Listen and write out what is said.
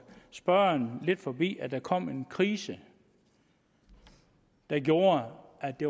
spørgerens næse forbi at der kom en krise der gjorde at det